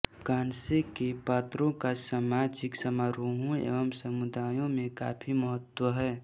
कांसे के पात्रों का सामाजिक समारोहों व समुदायों में काफी महत्व है